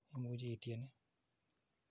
Imuchi ityen ni .